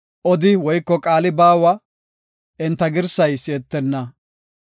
Odi woyko qaali baawa; enta girsay si7etenna.